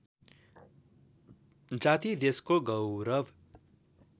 जाति देशको गौरव